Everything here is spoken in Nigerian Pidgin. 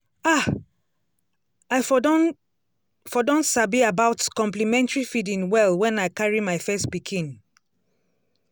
ah! i for don for don sabi about complementary feeding well when i carry my first pikin.